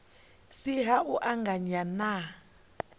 si ha u anganya na